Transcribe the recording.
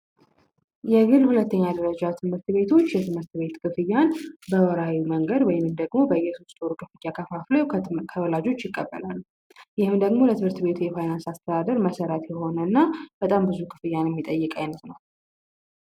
የግል ሁለተኛ ደረጃ ትምህርት ቤቶች የትምህርት ቤት ክፍያን በወርሀዊ መንገድ ወይንም ደግሞ በየ ሶስት ወር ከፋፍለው ከወላጆች ይቀበላሉ። ይህም ደግሞ ለትምህርት ቤቱ የፋይናንስ አስተዳደር መሰረት የሆነ እና በጣም ብዙ ክፍያን የሚጠይቅ አይነት ነው።